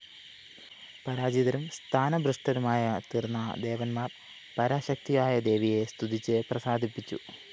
പരാജിതരും സ്ഥാനഭ്രഷ്ടരുമായിത്തീര്‍ന്ന ദേവന്മാര്‍ പരാശക്തിയായ ദേവിയെ സ്തുതിച്ചു പ്രസാദിപ്പിച്ചു